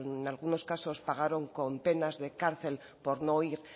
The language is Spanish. en algunos casos pagaron con penas de cárcel por no ir